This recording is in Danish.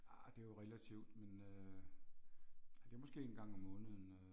Ah det jo relativt men øh. Ja det er måske en gang om måneden øh